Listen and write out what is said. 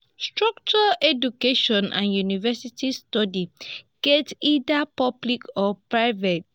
structured education and university studies get either public or private